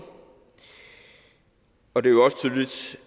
og det